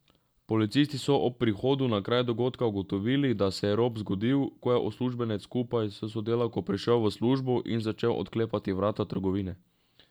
Policisti so ob prihodu na kraj dogodka ugotovili, da se je rop zgodil, ko je uslužbenec skupaj s sodelavko prišel v službo in začel odklepati vrata trgovine.